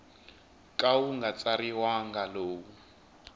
ka wu nga tsariwangi lowu